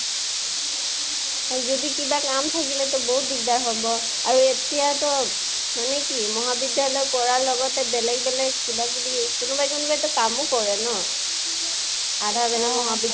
হয়। যদি কিবা কাম থাকেলেটো বহুত দিগ্দাৰ হব । আৰু এতিয়াতো, মানে কি মহাবিদ্য়ালয়ত পঢ়া লগেতে বেলগে বেলগে কিবা কিবি কোনোবা কোনোবাইটো কামো কৰে ন । আৰু আধা বেলা মহাবিদ্য়ালয়ত